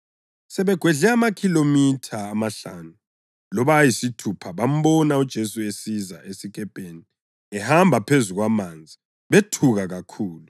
Sebegwedle okwamakhilomitha amahlanu loba ayisithupha bambona uJesu esiza esikepeni ehamba phezu kwamanzi; bethuka kakhulu.